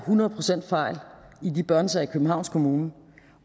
hundrede procent af de børnesager i københavns kommune